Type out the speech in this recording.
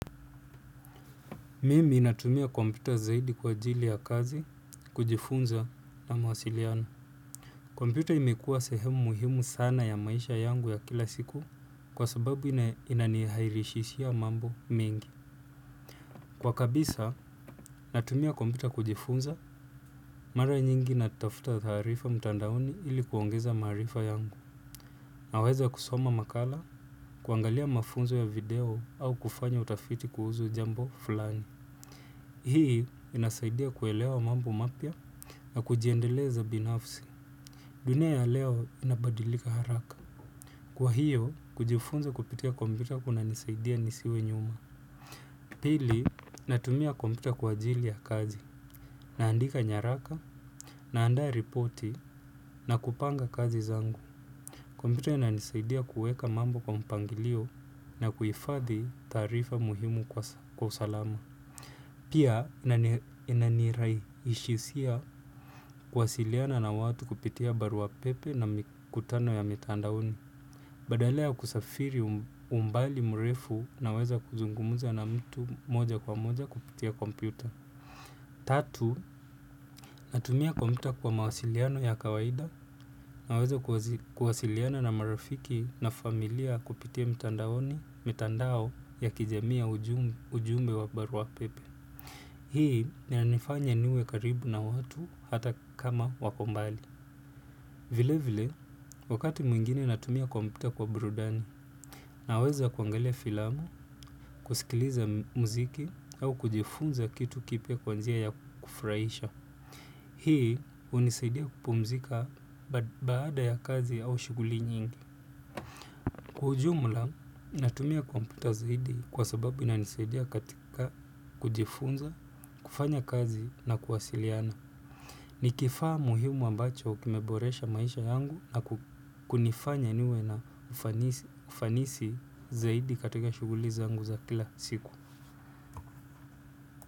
Mimi natumia kompyuta zaidi kwa ajili ya kazi, kujifunza na mawasiliano. Kompyuta imekuwa sehemu muhimu sana ya maisha yangu ya kila siku kwa sababu inanirahisishia mambo mengi. Kwa kabisa, natumia kompyuta kujifunza, mara nyingi natafuta taarifa mtandaoni ili kuongeza maarifa yangu. Naweza kusoma makala, kuangalia mafunzo ya video au kufanya utafiti kuhusu jambo fulani. Hii inasaidia kuelewa mambo mapya na kujiendeleza binafsi. Dunia ya leo inabadilika haraka. Kwa hiyo, kujifunza kupitia kompyuta kunanisaidia nisiwe nyuma. Pili, natumia kompyuta kwa ajili ya kazi. Naandika nyaraka, naandaa ripoti, na kupanga kazi zangu. Kompyuta inanisaidia kuweka mambo kwa mpangilio na kuhifadhi taarifa muhimu kwa usalama. Pia, inanirahisishia kuwasiliana na watu kupitia barua pepe na mikutano ya mitandaoni. Badala ya kusafiri umbali mrefu, naweza kuzungumza na mtu moja kwa moja kupitia kompyuta. Tatu, natumia kompyuta kwa mawasiliano ya kawaida na naweza kuwasiliana na marafiki na familia kupitia mitandao ya kijamii, ujumbe wa barua pepe. Hii inanifanya niwe karibu na watu hata kama wako mbali. Vilevile, wakati mwingine natumia kompyuta kwa burudani, naweza kuangalia filamu, kusikiliza muziki au kujifunza kitu kipya kwa njia ya furahisha. Hii hunisaidia kupumzika baada ya kazi au shughuli nyingi. Kwa ujumla, natumia kompyuta zaidi kwa sababu inanisaidia katika kujifunza, kufanya kazi na kuwasiliana. Nikifaa muhimu ambacho kimeboresha maisha yangu na kunifanya niwe na ufanisi zaidi katika shughuli zangu za kila siku.